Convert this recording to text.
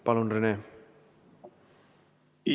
Palun, Rene!